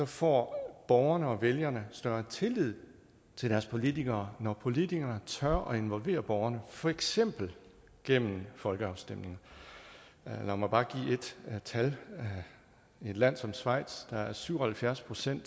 får borgerne og vælgerne større tillid til deres politikere når politikerne tør involvere borgerne for eksempel gennem folkeafstemninger lad mig bare give et tal i et land som schweiz er syv og halvfjerds procent